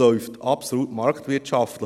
Dies läuft absolut marktwirtschaftlich.